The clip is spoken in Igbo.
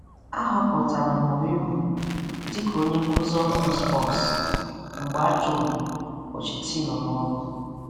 A họpụtara Mourinho dị ka onye nkuzi ọhụrụ Spurs mgbe a chụrụ Pochettino n'ọrụ.